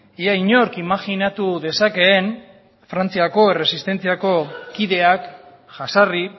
ia inork imajinatu dezakeen frantziako erresistentziako kideak jazarri